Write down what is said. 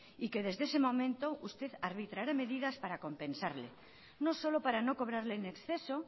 y que desde ese momento usted arbitrará medidas para compensarle no solo para no cobrarle en exceso